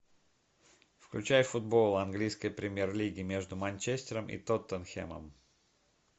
включай футбол английской премьер лиги между манчестером и тоттенхэмом